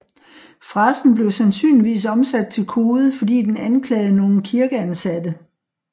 Frasen blev sandsynligvis omsat til kode fordi den anklagede nogle kirkeansatte